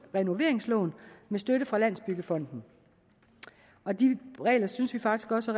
renoveringslån med støtte fra landsbyggefonden og de regler synes vi faktisk også